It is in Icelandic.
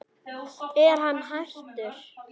Er hann hættur?